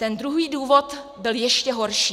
Ten druhý důvod byl ještě horší.